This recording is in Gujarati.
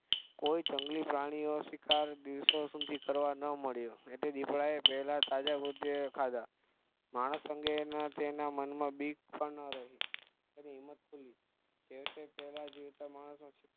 કોઈ જંગલી પ્રાણીનો શિકાર દિવસો સુધી કરવા ન મળ્યો એટલે દીપડાએ પેલા તાજા ખાધા માણસ અંગે તેના મનમાં બીક પણ ન રહી તેની હિમ્મત ખુલી છેવટે પેલા જીવતા માણસ નો શિકાર